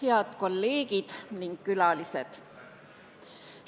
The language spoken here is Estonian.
Head kolleegid ja külalised!